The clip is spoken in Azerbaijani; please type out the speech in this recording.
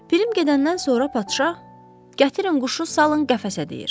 Pirim gedəndən sonra padşah, gətirin quşu salın qəfəsə deyir.